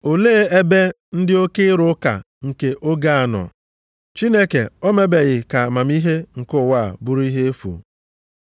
Olee ebe ndị oke amamihe nọ? Olee ebe ndị ode akwụkwọ nọ? Olee ebe ndị oke ịrụ ụka nke oge a nọ? Chineke o mebeghị ka amamihe nke ụwa a bụrụ ihe efu?